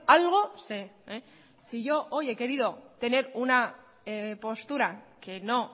algo sé si yo hoy he querido tener una postura que no